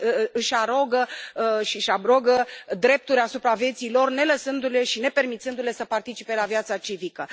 Își arogă drepturi asupra vieții lor, nelăsându le și nepermițându le să participe la viața civică.